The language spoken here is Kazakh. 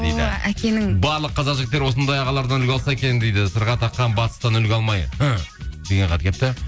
о әкенің барлық қазақ жігіттері осындай ағалардан үлгі алса екен дейді сырға таққан батыстан үлгі алмай деген хат келіпті